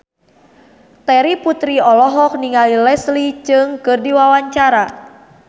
Terry Putri olohok ningali Leslie Cheung keur diwawancara